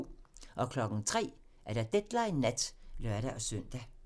03:00: Deadline Nat (lør-søn)